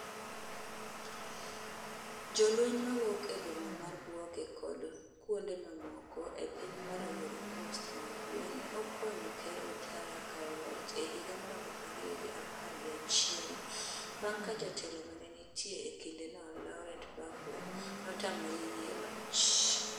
Jolweny mowuok e boma mar Bouake kod kuonde mamoko e piny mar Ivory Coast ma ugwe ne okonyo Ker Ouattara kawo loch e higa mar aluf ariyo gi apar gi achiel, bang' ka jatelo mane nitie e kindeno Laurent Gbagbo notamore yie loch.